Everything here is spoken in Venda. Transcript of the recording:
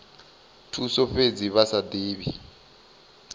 thuso fhedzi vha sa divhi